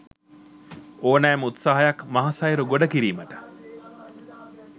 ඕනෑම උත්සාහයක් මහසයුර ගොඩ කිරීමට